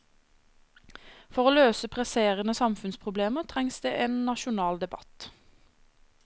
For å løse presserende samfunnsproblemer trengs det en nasjonal debatt.